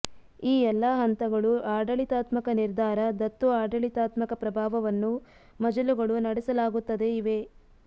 ಈ ಎಲ್ಲ ಹಂತಗಳು ಆಡಳಿತಾತ್ಮಕ ನಿರ್ಧಾರ ದತ್ತು ಆಡಳಿತಾತ್ಮಕ ಪ್ರಭಾವವನ್ನು ಮಜಲುಗಳು ನಡೆಸಲಾಗುತ್ತದೆ ಇವೆ